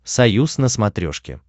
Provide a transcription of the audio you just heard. союз на смотрешке